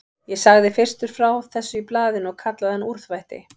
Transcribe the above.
Ég sagði fyrstur frá þessu í blaðinu og kallaði hann úrþvætti.